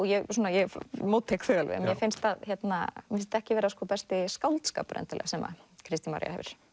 ég móttek þau alveg en mér finnst þetta ekki vera besti skáldskapur endilega sem að Kristín Marja hefur